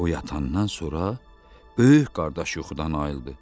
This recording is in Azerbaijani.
O yatandan sonra böyük qardaş yuxudan ayıldı.